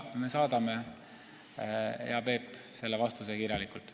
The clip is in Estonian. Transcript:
Me saadame teile, hea Peep, selle vastuse kirjalikult.